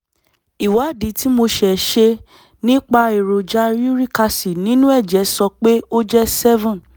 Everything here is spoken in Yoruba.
ìwádìí tí mo ṣe ṣe nípa èròjà uric acid nínú ẹ̀jẹ̀ sọ pé ó jẹ́ seven